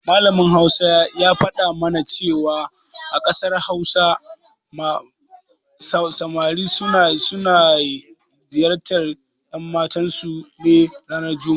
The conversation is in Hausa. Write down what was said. Malamin Hausar ya faɗa mana cewa a ƙasar Hausa samari suna ziyartar ƴanmatansu ne ranar juma'a.